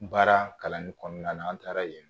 Baara kalanni kɔnɔna na an taara yen